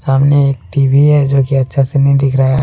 सामने एक टी_वी है जोकि अच्छा से नहीं दिख रहा है।